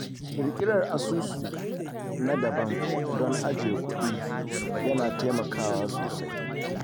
Ƙirƙirar asusu na daban don ajiye kuɗi ya na taimakawa sosai.